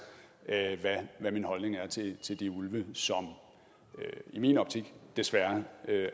hvad min holdning er til til de ulve som i min optik desværre